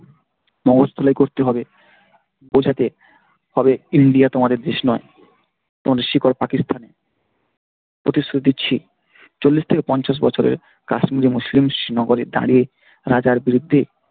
মগজ ধোলাই করতে হবে বোঝাতে হবে India তোমাদের দেশ নয় তোমাদের শিকড় পাকিস্থানে। প্রতিশ্রুতি দিচ্ছি চল্লিশ থেকে পঞ্চাশ বছরে কাশ্মীরে মুসলিম নগরে দাঁড়িয়ে রাজার বিরুদ্ধে,